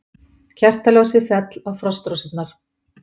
Kertaljósið féll á frostrósirnar.